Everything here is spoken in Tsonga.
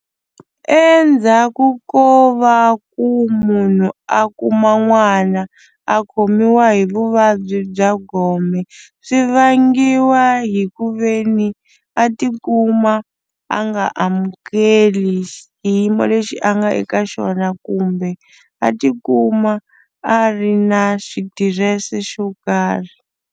Endzhaku ko va ku munhu a kuma n'wana a khomiwa hi vuvabyi bya gome swi vangiwa hi ku ve ni a tikuma a nga amukeli xiyimo lexi a nga eka xona kumbe a tikuma a ri na xitirese xo karhi.